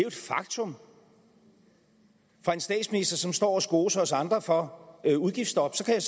et faktum fra en statsminister som står og skoser os andre for udgiftsstop så kan